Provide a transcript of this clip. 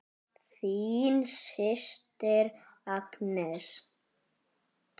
Þín systir Agnes.